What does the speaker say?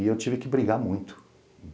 E eu tive que brigar muito.